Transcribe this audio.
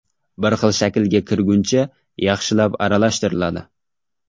Bir xil shaklga kirguncha yaxshilab aralashtiriladi.